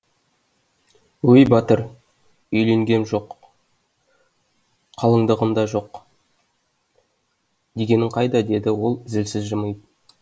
өй батыр үйленгем жоқ қалыңдығым да жоқ дегенің қайда деді ол зілсіз жымиып